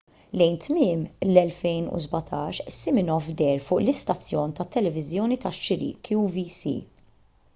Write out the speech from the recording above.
lejn tmiem l-2017 siminoff deher fuq l-istazzjon tat-televiżjoni tax-xiri qvc